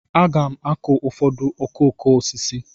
Aga m akụ ụfọdụ okooko osisi.